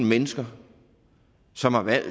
mennesker som har valgt